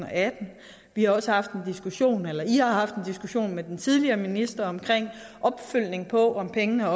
atten i har også haft en diskussion med den tidligere minister om en opfølgning på om pengene